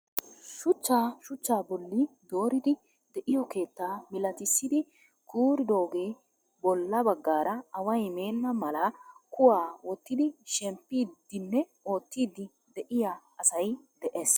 Shuchchaa shuchchaa bolli dooridi de'iyoo keettaa milatisidi kuuridoogee bolla baggaara away meenna mala kuwaa wottidi shemmpidi nne oottiidi de'iyaa asay de'ees.